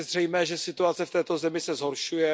Je zřejmé, že situace v této zemi se zhoršuje.